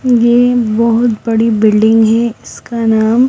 ये बहुत बड़ी बिल्डिंग है इसका नाम --